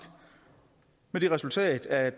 med det resultat at